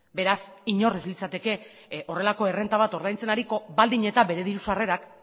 beraz inork ez litzateke horrelako errenta bat ordaintzen ariko baldin eta bere diru sarrerak